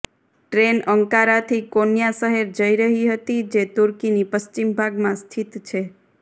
train અંકારાથી Konya શહેર જઇ રહી હતી જે તૂર્કીની પશ્ચિમ ભાગમાં સ્થિત છે